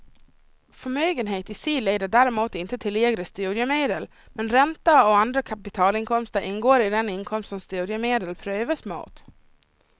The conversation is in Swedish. Förmögenhet i sig leder däremot inte till lägre studiemedel, men räntor och andra kapitalinkomster ingår i den inkomst som studiemedel prövas mot.